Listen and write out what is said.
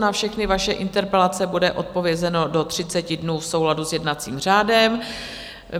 Na všechny vaše interpelace bude odpovězeno do 30 dnů v souladu s jednacím řádem.